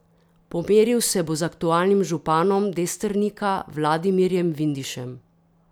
Pomeril se bo z aktualnim županom Destrnika Vladimirjem Vindišem.